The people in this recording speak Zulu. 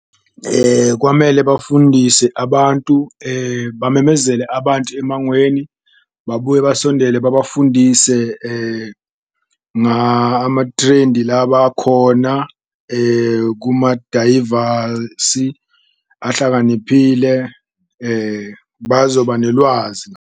Kwamele bafundise abantu bamemezele abantu emangweni babuye basondele babafundise ama-trend-i labakhona kumadayivasi ahlakaniphile, bazoba nelwazi.